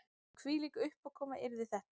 Hvílík uppákoma yrði þetta